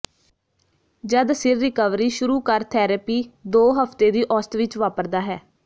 ਜਦ ਸਿਰ ਰਿਕਵਰੀ ਸ਼ੁਰੂ ਕਰ ਥੈਰੇਪੀ ਦੋ ਹਫ਼ਤੇ ਦੀ ਔਸਤ ਵਿੱਚ ਵਾਪਰਦਾ ਹੈ